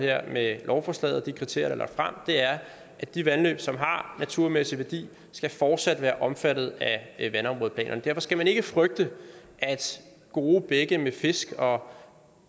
med lovforslaget og de kriterier lagt frem er at de vandløb som har naturmæssig værdi fortsat skal være omfattet af vandområdeplanerne derfor skal man ikke frygte at gode bække med fisk og